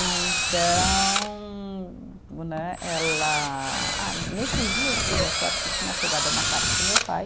E então né, ela, ah nesses dias, diz a sorte, que tinha chegado uma carta do meu pai.